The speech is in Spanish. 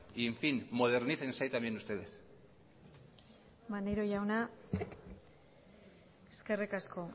y en fin modernícense también ustedes maneiro jauna eskerrik asko